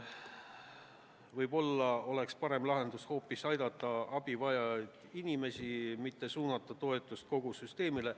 Võib-olla oleks parem lahendus aidata vaid abi vajavaid inimesi, mitte suunata toetus kogu süsteemile.